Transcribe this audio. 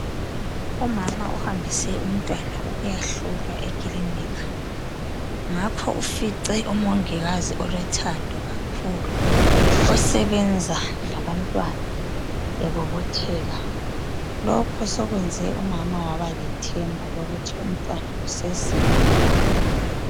Umama ohambise umntwana ukuyahlolwa ekilinika ngakho ufice umongikazi olothando kakhulu osebenza labantwana ebobotheka lokhu sokwenze umama wabalethemba lokuthi umntwana usesila.